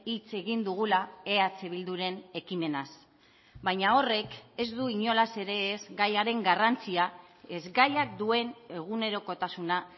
hitz egin dugula eh bilduren ekimenaz baina horrek ez du inolaz ere ez gaiaren garrantzia ez gaiak duen egunerokotasuna